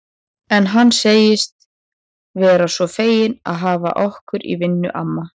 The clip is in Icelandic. En hann segist vera svo feginn að hafa okkur í vinnu, amma